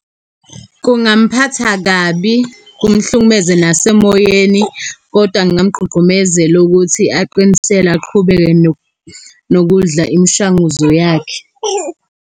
Kungamphatha kabi, kumhlukumeze nasemoyeni, kodwa ngingamgqugqumezela ukuthi aqinisele, aqhubeke nokudla imishanguzo yakhe.